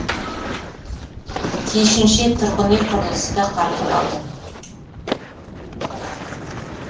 тиісінше тұрғын үй құрылысы да қарқын алды